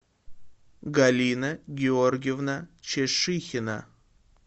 галина георгиевна чешыхина